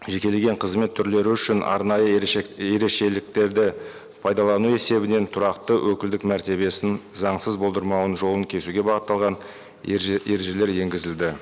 жекелеген қызмет түрлері үшін арнайы ерекшеліктерді пайдалану есебінен тұрақты өкілдік мәртебесін заңсыз болдырмауының жолын кесуге бағытталған ережелер енгізілді